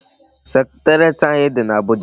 Secretariat anyị dị n'Abuja.